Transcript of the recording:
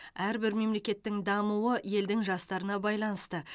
әрбір мемлекеттің дамуы елдің жастарына байланысты